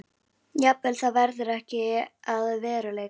Jafnvel það verður ekki að veruleika.